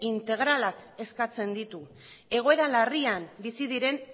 integralak eskatzen ditu egoera larrian bizi diren